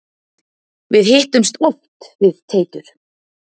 Við hittumst oft við Teitur.